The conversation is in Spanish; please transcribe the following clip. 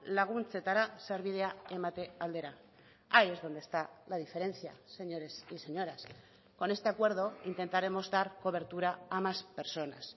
laguntzetara sarbidea emate aldera ahí es donde está la diferencia señores y señoras con este acuerdo intentaremos dar cobertura a más personas